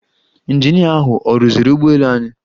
Ịnjinia ahụ ọ rụziri ụgbọelu anyị?